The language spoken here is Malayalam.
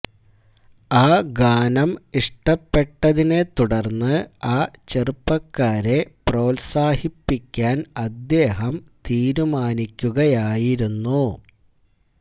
ആ ഗാനം ഇഷ്ടപ്പെട്ടതിനെ തുടർന്ന് ആ ചെറുപ്പക്കാരെ പ്രോത്സാഹിപ്പിക്കാൻ അദ്ദേഹം തീരുമാനിക്കുകയായിരുന്നു